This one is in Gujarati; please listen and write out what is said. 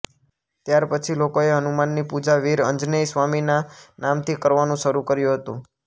ત્યાર પછી લોકોએ હનુમાનની પૂજા વીર અંજનેય સ્વામીના નામથી કરવાનું શરૂ કર્યું હતું